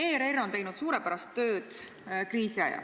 ERR on teinud kriisi ajal suurepärast tööd.